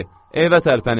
Evə tərpənin!